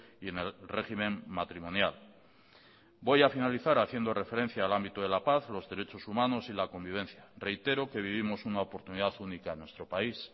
y en el régimen matrimonial voy a finalizar haciendo referencia al ámbito de la paz los derechos humanos y la convivencia reitero que vivimos una oportunidad única en nuestro país